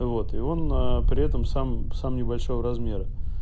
вот и он при этом сам сам небольшого размера